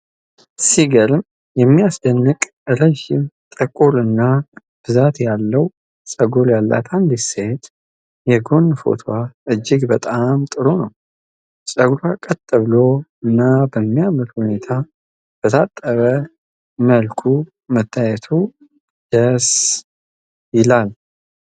ሲገርም የሚያስደንቅ! ረዥም፣ ጥቁር እና ብዛት ያለው ፀጉር ያላት አንዲት ሴት የጎን ፎቶዋ እጅግ በጣም ጥሩ ነው። ጸጉሯ ቀጥ ብሎ እና በሚያምር ሁኔታ በታጠበ መልኩ መታየቱ ደስ ይላል።